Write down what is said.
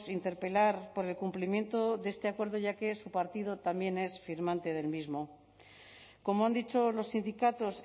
interpelar por el cumplimiento de este acuerdo ya que su partido también es firmante del mismo como han dicho los sindicatos